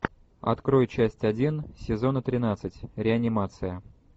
открой часть один сезона тринадцать реанимация